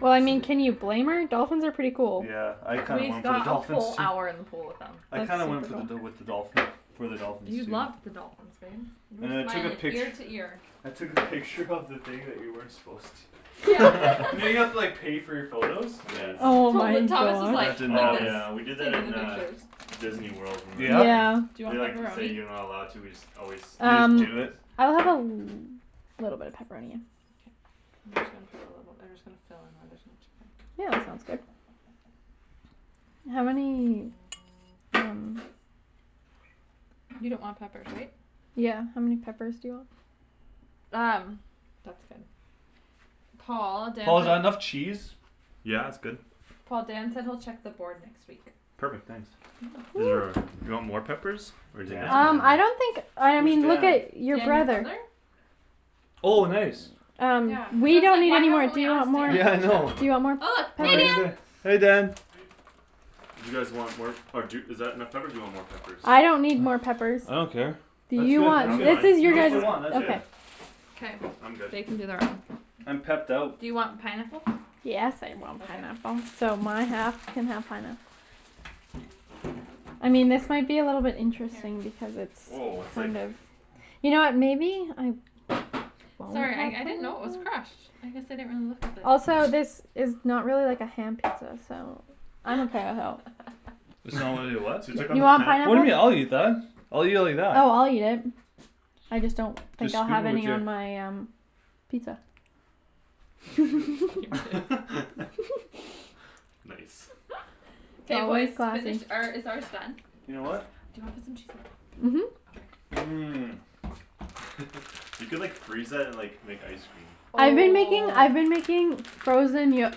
Well I mean, can you blame her? Dolphins are pretty cool Yeah, I kinda We went for the got a dolphins whole too hour in the pool with I That's them kinda went for the dol- with the dolphins, for the dolphins, You too loved the dolphins, babe You were And I took a smiling pict- ear to ear I took a picture of the thing that you weren't supposed to Yeah You know you have to like pay for your photos? Nice Oh my Tot- Thomas was That gosh like, didn't like Oh happen this, yeah we did that taking in the uh pictures Disneyworld when we were Yeah? Yeah Do there you They want like say pepperoni? you're not allowed to, we just always snipe You just do Um it? photos I'll have a l- little bit of pepperoni, yeah K I'm just gonna put a little, I'm just gonna fill in where there's no chicken Yeah, that sounds good How many, um You don't want peppers, right? Yeah, how many peppers do you want Um, that's good Paul, Dan Paul is that enough said cheese? Yeah it's good Paul, Dan said he'll check the board next week Perfect, thanks Is there Woo a, do you want more peppers, or do you think Dan? it's Um, fine I here don't think, I Who's mean look Dan? at your Dan, your brother brother? Oh nice Yeah, Um, cuz we I was don't like need why any more, haven't do we you want asked more, do Yeah I Dan? know you want Oh more, look, hey Dan peppers Hey Dan Do you guys want more, or d- is that enough peppers do you want more peppers I don't need more peppers I don't care Do That's you good that's I'm want, good, this fine, is with you I'm just guys' the fine one, that's yeah good K, I'm good they can do their own I'm pepped out Do you want pineapple? Yes I want Okay pineapple So my half can have pineapple I mean this might be a little bit Here interesting because it's Whoa it's it's like kind of You know what, maybe, I Sorry, I I didn't know it was crushed I guess I didn't really look at the Also this is not really like a ham pizza, so It's not really a what? So you took out You the want pan What do you mean? I'll eat pineapple? that I'll eat it like that Oh I'll eat it I just don't think Just I'll scoop have it with any your on my um pizza Oh shoot Nice Nice K boys, Always finish, classy or is ours done? Your what? Do you wanna put some cheese on top? Mhm Okay Mm You could like freeze that and like, make ice cream I've been making I've been Oh making frozen yo-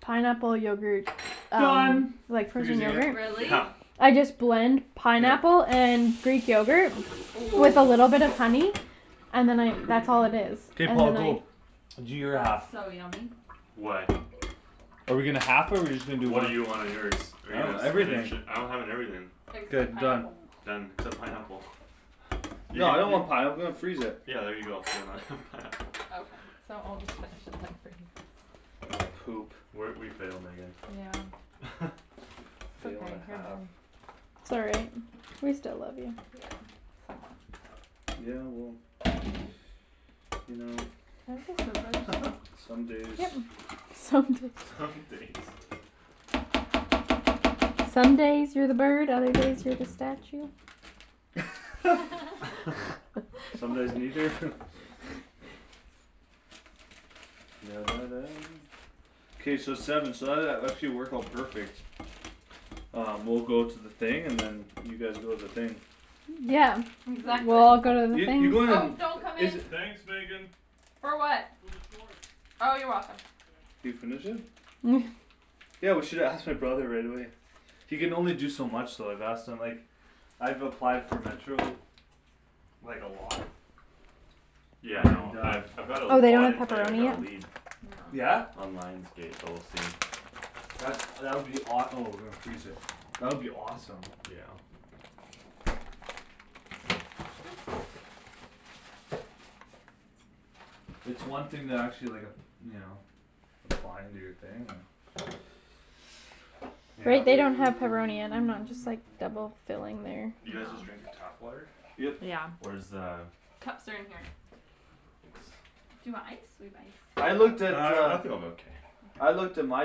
pineapple yogurt Done from Like like frozen frozen yogurt. yogurt Really? Yeah I just blend Yeah pineapple and greek yogurt Oh with a little bit of honey And then I that's all it is K Paul, go Do your half That's so yummy Why? Are we gonna half it or we just gonna do What one? do you want on yours? Are you I have gonna everything spinach it, I'm having everything Like The done pineapple Done, except pineapple You Yeah I can, don't you want pineapple, let's freeze it Yeah there you go, so we're not having pineapple Okay, so I'll just finish it then, for you guys We're, we failed Megan Yeah It's Fail and okay, a here half man Sorry We still love you Yeah, somewhat Yeah well, you know Can I have the scissors? Some days Yep Some Some days days Some days you're the bird, other days you're the statue Some What? days neither? K so seven so that that actually worked out perfect Uh, we'll go to the thing, and then you guys go to the thing Yeah We Exactly all go to the Yeah you things go to Oh, don't come the, is in uh- For what? Oh you're welcome Can you finish it? Mm Yeah, we should have asked my brother right away He can only do so much though, I've asked him like, I've applied for Metro, like a lot Yeah I know, And uh I've I've got a, Oh they oh I don't didn't have tell you, I pepperoni got a yet? lead No Yeah? On Lions Gate, but we'll see That's, that would be awe- oh that would be awesome Yeah It's one thing to actually like ap- you know, apply and do your thing, uh They Yep they don't have pepperoni and I'm not just like double filling their You y'know guys just drinking tap water? Yep Yeah Where's the Cups are in here Do Thanks you want ice? We have ice Uh, I looked at uh, I think I'm okay I looked at my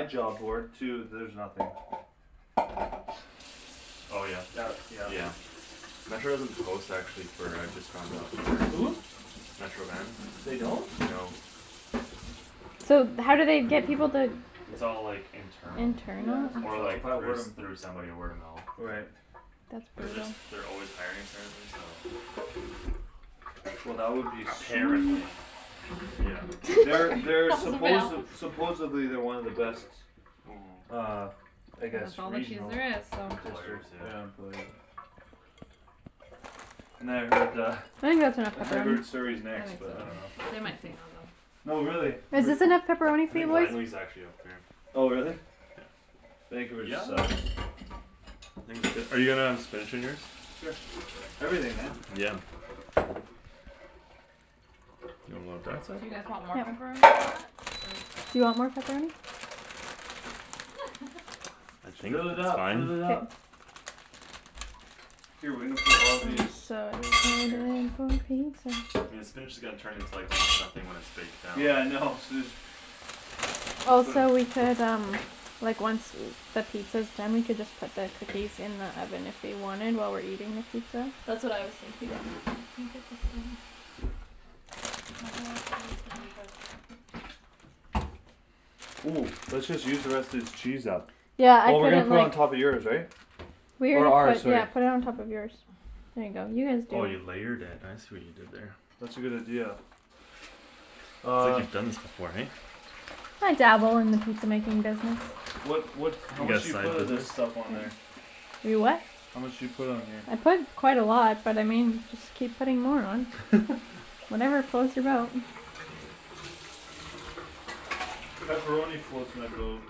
job board too, there's nothing Oh yeah? Uh, yeah Yeah Metro doesn't post actually for, I just found out Hm? Metro Van? They don't? No So how do they get people to It's all like, internal Yeah, Internal? it's Or internal, or like by through word of s- through somebody word of mo- mouth Right That's Cuz they're brutal s- they're always hiring apparently, so Well that would be Mm sweet Apparently Yeah They're they're That was a supposed, fail supposedly they're one of the best, Mhm uh I And guess that's all the cheese regional there is, so Employers, yeah yeah, employer And then I heard uh, I think that's enough I pepperoni heard Surrey's I next think but so too, um they might say no though No really, but Is this enough pepperoni I for you think boys? Langley's actually up there Oh really? Yeah Vancouver sucks Are you gonna have spinach on yours? Sure, everything, man Yeah You want more on that Do you guys side? want more pepperoni on Yep that, or? I think Fill it that's up, fine fill it up K we're I'm gonna put all of these so in here excited for pizza I mean the spinach is gonna turn into almost nothing when it's baked down Yeah I know, Also we could um Like once the pizza's done we could just put the cookies in the oven if we wanted, while we're eating the pizza That's what I was thinking Think this is done My whole gonna be Mm, let's just use the rest of this cheese up Yeah, I Well we're put gonna it put it on on top of yours, right Or Yeah, ours, sorry yeah put it on top of yours There you go, you guys Oh do you it layered it, I see what you did there That's a good idea It's like Uh you've done this before, eh? I dabble in the pizza making business What what You how much got do you side put of this business? stuff on there? You what? How much do you put on here? I put quite a lot, but I mean y- just keep putting more on Whatever floats your boat Pepperoni floats my boat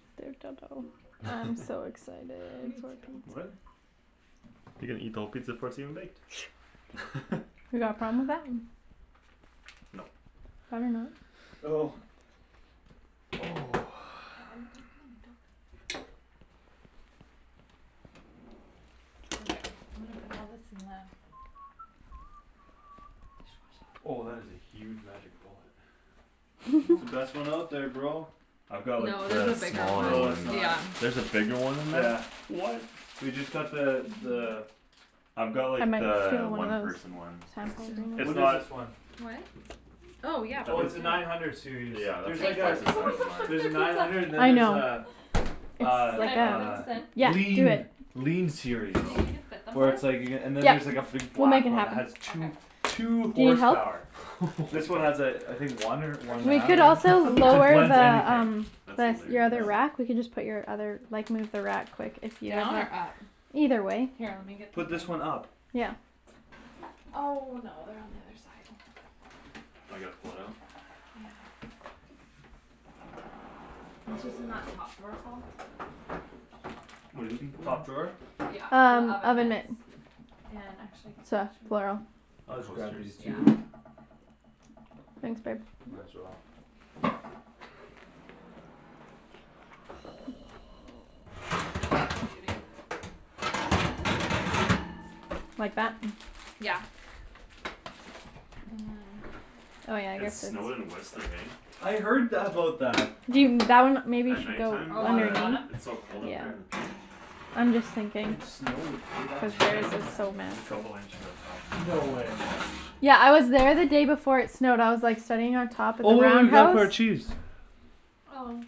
I'm so Me excited for too What? pizza You gonna eat the whole pizza before it's even baked You got a problem with that? No Oh Okay, I'm gonna put all this in the Oh that dishwasher is a huge magic bullet It's the best Yeah one out there, bro I've got like No, there's a the bigger one, smaller No it's one not yeah There's a bigger one than Yeah that? What? We just got the, the I've got like Yeah the one one of those person one It's What is not this one? Oh Oh yeah, yeah I Oh it's think please a do nine hundred series, Yeah that's there's Oh my like like a twice the size of gosh, mine look at There's a their nine pizza hundred and then I there's a, know a, It's Can like I a that put? Yeah, do lean it lean series Do you think we can fit Oh them Where both? it's like you c- and then there's like a Yeah, big we'll make black it one that has happen two, Okay two Do you need help? horsepower This one What has a, I think one or one Or and a should We we do half could also like, maybe, it j- layer blends the the anything um, That's the s- the hilarious other wrap, we Yeah can just put your other, like move the wrap quick if you Down or up? Either way Here, let me get the Put things this one up Yeah Oh no, they're on the other side Now I gotta pull it out? Yeah It's just in that top drawer, Paul What're you looking for? Top drawer? Yeah, the Um, oven oven mitts mitts And actually The These coasters? Yeah two Thanks babe Might as well Mhm Need a big Like that? Yeah Oh yeah I It guess it's snowed in Whistler, eh I heard th- about that You that one maybe At should night go time, Oh, cuz on the uh, bottom? underneath it's so cold up there Yeah at the peak? I'm just thinking It snowed, eh? That's This Yeah crazy place is so There's a messy. couple inches up top now, No way yeah Yeah I was there the day before it snowed, I was like sitting on top of the Oh Roundhouse? our cheese Oh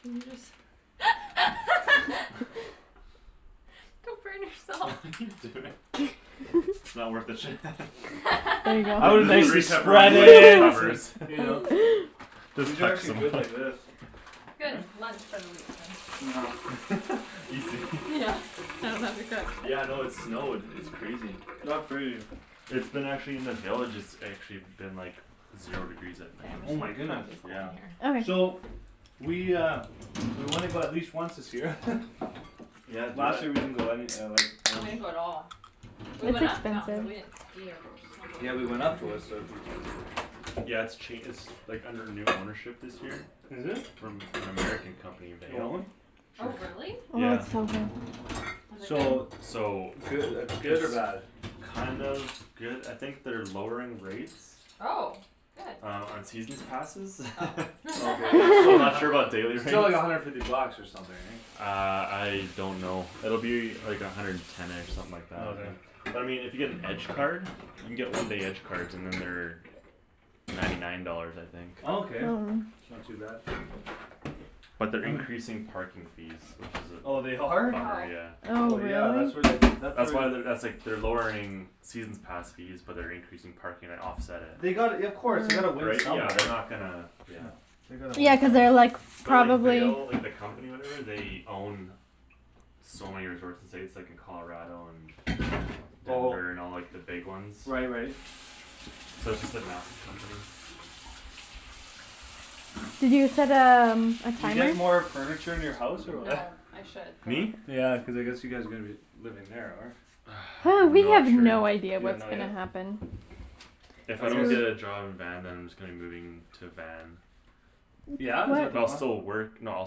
Couldn't you just Come burn What yourself are you doing? It's not worth it Shan There you The I would go the nicely three spread pepperoni bites it it, and covers you know But Just these are actually good like this Good, lunch for the week then Know Easy Yeah, I don't have to cook Yeah no it snowed, it's crazy That's crazy It's been actually in the villages it's actually been like Zero degrees at K, night I'm Oh just my gonna throw goodness all these Yeah all over Okay here So We uh, we wanna go at least once this year Yeah do Last it year we didn't go any uh, like We didn't go at all We That's went up the mountain but we expensive didn't ski or Yeah we went snowboard up to Whistler a few times Yeah it's ch- it's like, under new ownership this year Is it? From an American company, You want Vail? one? Oh really? Oh Yeah it's so good Is it good? So So Goo- good It's or bad? kind of good, I think they're lowering rates Oh, good Um, on seasons passes Oh Oh okay yeah, so I'm th- not sure about daily rates still like a hundred fifty bucks or something eh Uh, I don't know, it'll be like a hundred and ten-ish, something like that Okay But I mean if you get an edge card? You can get one day edge cards and then they're Ninety nine dollars I think Oh Okay, not too bad But they're I'm a increasing parking fees, which is Oh they a are? bummer, Oh yeah Oh Oh yeah, really? that's where they, that's where That's why they're, that's like they're lowering seasons pass fees, but they're increasing parking to offset it They gotta y- of course, they gotta win Right, yeah somewhere they're not gonna, yeah No They gotta win Yeah cuz they're like, some But like probably Vail, like the company or whatever they own So many resorts in the States, like in Colarado and Oh Denver and all like the big ones Right right So it's just a massive company You said um, You get more furniture in your house or No, what I should Me? though Yeah, cuz I guess you guys are gonna be living there, or? Hey, we Not have sure no idea You don't what's know gonna yet? happen If If I I guess don't get a job in Van then I'm just gonna be moving to Van Yeah? Is that the But I'll plan? still work, no I'll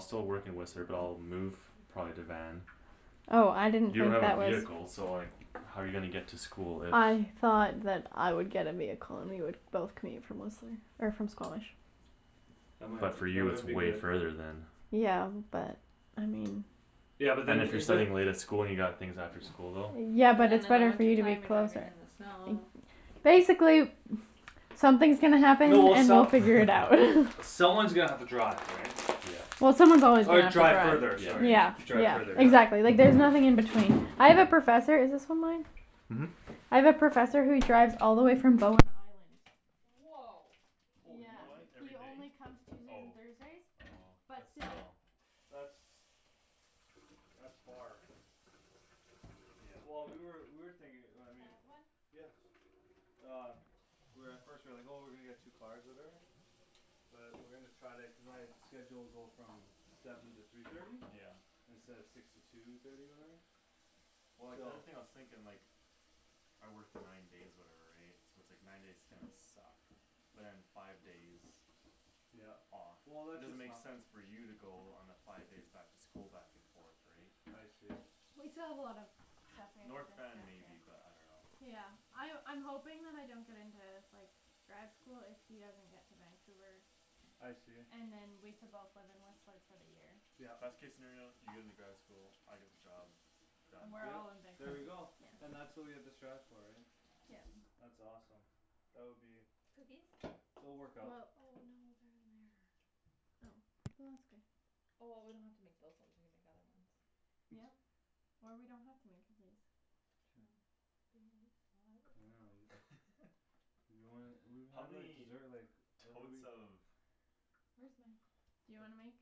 still work in Whistler but I'll move probably to Van Oh, I didn't You don't think have a that was vehicle, so like how you gonna get to school if I thought that I would get a vehicle and we could both commute from Whistler, or from Squamish That might, But for that you it's might be way good further then Yeah, but, I mean Yeah but And then, if you're it- the studying late at school and you got things after school, though Yeah And then but in it's the better for winter you to be time you're closer driving in the snow Basically something's gonna happen No well and we'll some- figure it out Someone's gonna have to drive, right Yeah Yeah someone's always gonna Or have to drive further, drive sorry Yeah, Yeah Drive yeah further, exactly, like yeah there's nothing in between I have a professor, is this one mine? Mhm I have a professor who drives all the way from Bowen Island Whoa Yeah, Holy What, monkey he every only day? comes Tuesdays and Oh Thursdays, Oh, but but still still That's That's far Yeah Well we were, we were Can thinking I I mean have one? Um We were at first, we were like oh we're gonna get two cars or whatever But we're gonna try to, cuz my schedule will go from seven to three thirty Yeah Instead of six to two thirty or whatever Well like the So only thing I was thinking like I work nine days or whatever right, so it's like nine days are gonna suck But then five days Yeah off Well It that's doesn't just make how sense for you to go on a five days back to school back and forth right I see We still have a lot of stuff we have North Van maybe but I dunno Yeah, I- I'm hoping that I don't get into like, grad school if he doesn't get to Vancouver I see And then we can both live in Whistler for the year Yeah Best case scenario, you get into grad school, I get the job Then Done we're Yeah, all in Vanco- there we go yeah And that's what we have to strive for, right Yeah That's awesome That would be Cookies? It'll work Well Oh no out they're in there Oh, well that's good Oh well we don't have to make those ones, we can make the other ones Yep, or we don't have to make cookies True Be nice I Oh I will dunno, you You don't wanna, we, How how do I many desert like totes of Where's my Do you wanna make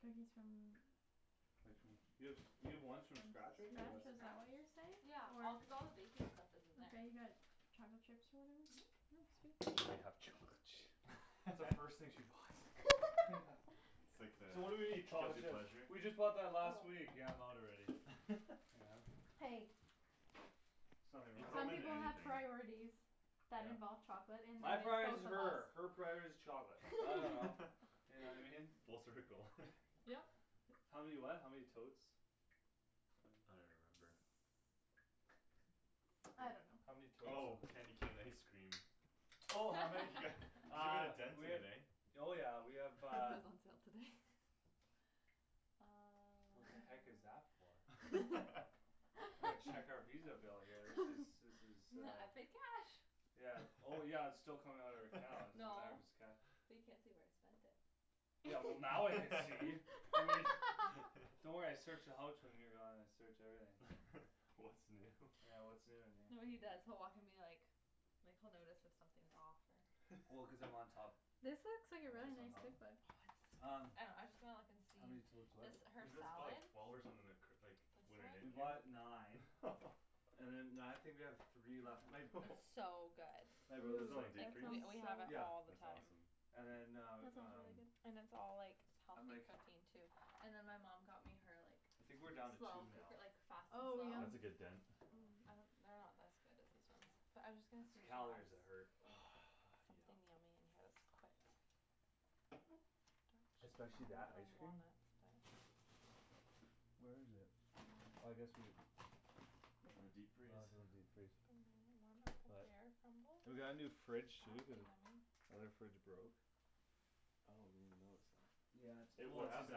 cookies from Like from, you have, you have From ones scratch, from scratch right here or what is that what you're Scratch? Yeah, all cuz all the saying? Or baking stuff You is in there got chocolate chips or whatever? That's the first thing she buys Yeah It's like the So what do we need? Chocolate guilty chips pleasure? We just bought that last Oh week, yeah I'm out already Yeah Hey There's nothing They throw wrong Some with them in people have anything priorities that involve Yeah chocolate and when My priority's it's both of her, her us priority's chocolate, I dunno You know I mean? Full circle Yep How many what? How many totes I don't Mm even remember I How many don't know totes Oh, candy something cane ice cream Oh how many Yeah, you made Uh, a dent we in have it eh Oh yeah we have That uh was on sale today Uh What the heck is that for? I'm gonna check our Visa bill here, this is this is uh N- I paid cash Yeah, oh yeah but it's still coming out of our account, doesn't No matter if it's cash But you can't see where I spent it Yeah well now I can see I mean Don't worry I search the houch when you're gone, I search everything What's new Yeah what's new in here No what he does, he'll walk in be like, like he'll notice if something's off or Well cuz I'm on top This looks like a I'm really always on nice top cookbook Um I know, I was just gonna look and see, How many totes what this Cuz her you guys bought salad like twelve or something like c- like This We bought one? nine And then now I think we have three left, my b- It's so good My Put brother's some in like deep That And freeze? we sounds so we have it good Yeah all the That's time awesome And then That uh, sounds really um good And it's all like And healthy like cooking too And then my mom got me her like, I think we're down to two slow now cooker, like fast and Oh yum slow? That's a good I know dent Mm, I don't, they're not as good as these ones, but I'm just gonna It's see if the she calories has that hurt Yep Something yummy in here that's quick Hmm Especially that don't ice have cream walnuts, but Where is it? Oh I guess we have In the Oh it's deep freeze? in the deep freeze Banana warm up pear We got a new crumble? fridge That'd too, cuz be o- yummy Other fridge broke Oh I didn't even notice that Yeah it's, well What it's happened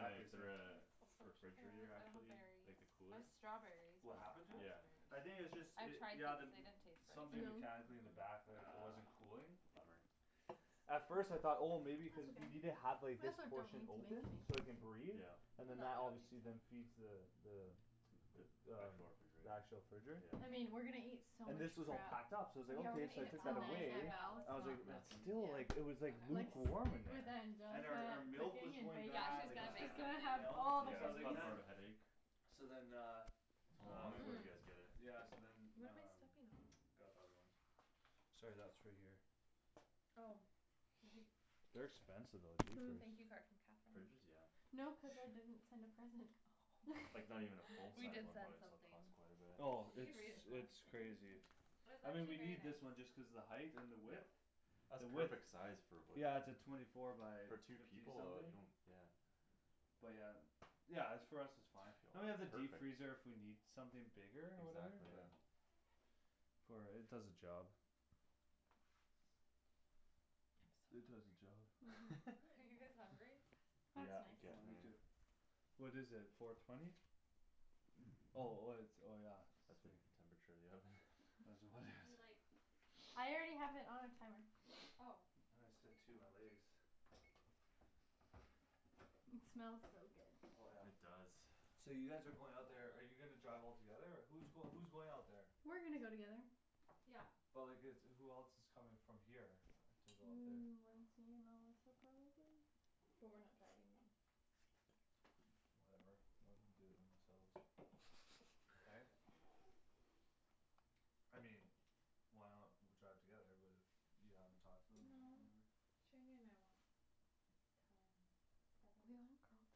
to it, the same uh, the Poached pears, refrigerator I don't have actually, berries like the I cooler? have strawberries, but What not happened to it? Yeah I raspberries think it's just I've it, tried yeah the m- these, they didn't taste very Something good Mm- No? mechanically in the Ah, back t- mm it wasn't cooling bummer At first I thought oh That's maybe cuz okay, you need I to guess have like I this don't portion need to open, so make it can any breathe Yeah And then No, that I don't obviously need then to feeds the the The The actual the refrigerator actual fridge Yeah I mean, we're gonna eat so And much this was all crap packed up, so I Yeah was like we're gonna okay, eat so I at Val's, took that oh Tonight away at I yeah was Val's? like, let's Mm, not it then nothing? Yeah still like, it was like Like s- okay lukewarm in with there And our our Angelica milk was cooking and going baking, Yeah, bad, she's like it gonna was bake she's getting, gonna something have you Ah know, all the so Yeah I was it's like goodies caused man more of a headache So then uh How Uh long ago you guys get it? Mm Yeah so then What am I um, stepping on? got the other one Sorry that's for here Oh Did you, They're expensive though, jeepers thank you card from Catherine Fridges? Yeah No cuz I didn't send a present Oh Like not even a full We size did one send probably still something costs quite a bit Oh You it's can read it if you want it's crazy It was I mean we actually very need this nice one just cuz the height and the width That's The width perfect size, for what Yeah it's a twenty four by For two fifty people uh, something you don't, yeah But yeah, yeah it's for us it's fine And we have the Perfect deep freezer if we need something bigger, or whatever, Exactly yeah yeah For it does the job I'm It does the so hungry job Mhm Are you guys hungry? That's Yeah, Oh getting me there nice too What is it, four twenty? Oh oh it's, oh yeah That's the temperature of the oven Do like I already have it on timer Ah Oh I my It smells so Oh yeah good It does So you guys are going out there, are you gonna drive all together or, who's going who's going out there We're gonna go together Yeah But like it's, who else coming from here, to go out there Mm Lindsay and Melissa, probably? But we're not driving them Whatever, let them do it themselves Right? I mean Why not w- drive together, but if you haven't talked to them or No whatever Shandy and I want time together We want girl time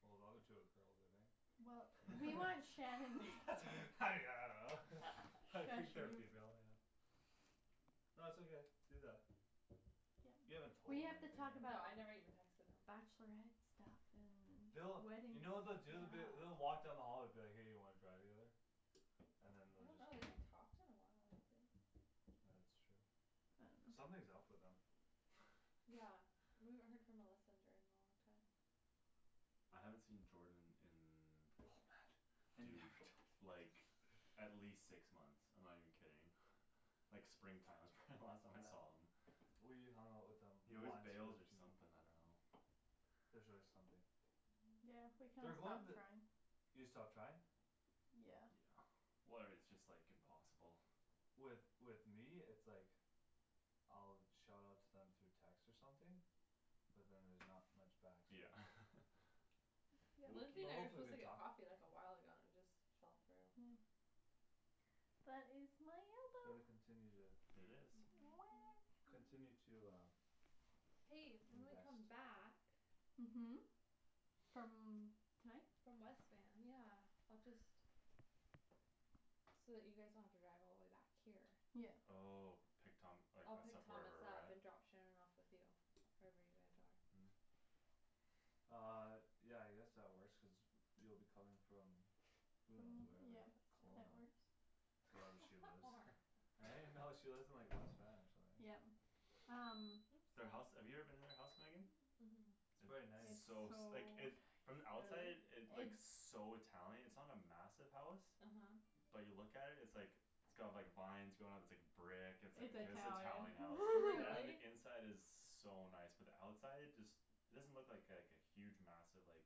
Well the other two are girls, aren't they Well, Eh we want Shan yeah and I don't know Shush, I think you they're female, yeah No it's okay, do that You Yeah, haven't told we them or have to anything talk No, about I never right bachelorette even texted them stuff and They'll, wedding you know what stuff they'll do, they'll be, they'll walk down the Yeah hall and be like hey you wanna drive together? And then I they'll don't just know, go they haven't talked in a while, like Ah that's true I dunno Something's up with them Yeah, we haven't heard from Melissa and Jordan in a long time I haven't seen Jordan Oh man in Have you dude, ever talked to them like like at least six months, I'm not even kidding Like spring time was probably the last time I saw him We hung out with them He always once bails or something, I dunno There's always something Yeah, we kinda They're going stopped the trying You stopped trying? Yeah Yeah Where it's just like impossible With with me it's like I'll shout out to them through text or something But then there's not much back so Yeah Lindsay But and I were hopefully supposed they to get talk coffee like a while ago and it just fell through Yeah But it's So they continue to It is Weh Continue to uh Hey, when we Invest come back Mhm From tonight? From West Van, yeah, I'll just So that you guys don't have to drive all the way back here Yeah Oh, pick Thom- like I'll us pick up Thomas wherever we're up at? and drop Shan off with you Wherever you guys are Mm Um, yeah I guess that works cuz you'll be coming from Who knows From where, like yeah, that Kelowna works Wherever she How lives far? Right no, she lives in like West Van or something right Yeah, um Their house, Oops have you ever been to their house Megan? Mhm It's quite It's It's nice so so s- like it, from the nice outside Really? it looks so Italian, it's not a massive house Uh huh But you look at it, it's like It's got like vines going up, it's like brick, it's It's like Italian Italian house, Yeah? and Really? the inside is so nice, but the outside just It doesn't look like like a huge massive like